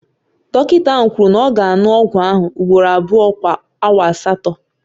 Dọkịta ahụ kwuru na ọ ga-aṅụ ọgwụ ahụ ugboro abụọ kwa awa asatọ